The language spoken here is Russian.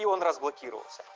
и он разблокировался